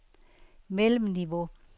mellemniveau